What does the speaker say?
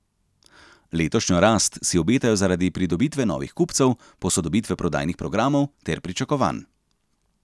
Letošnjo rast si obetajo zaradi pridobitve novih kupcev, posodobitve prodajnih programov ter pričakovanj.